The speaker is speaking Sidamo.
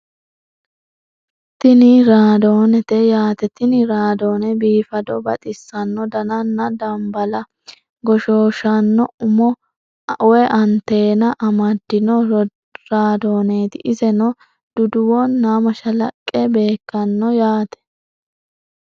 Tini raadoonete yaate tini raadoone biifado baxissanno dananna dambala goshooshshanno umo (anteena) amaddino radooneeti iseno duduwo nna mashallaqqe beekkanno yaate.